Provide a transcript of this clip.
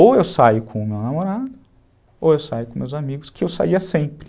Ou eu saio com meu namorado, ou eu saio com meus amigos, que eu saia sempre.